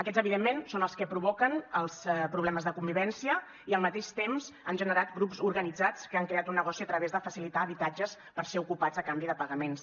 aquests evidentment són els que provoquen els problemes de convivència i al mateix temps han generat grups organitzats que han creat un negoci a través de facilitar habitatges per ser ocupats a canvi de pagaments